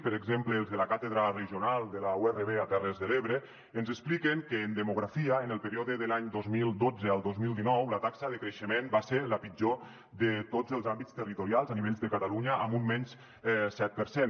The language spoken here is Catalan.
per exemple els de la càtedra regional de la urv a terres de l’ebre ens expliquen que en demografia en el període de l’any dos mil dotze al dos mil dinou la taxa de creixement va ser la pitjor de tots els àmbits territorials a nivell de catalunya amb un menys set per cent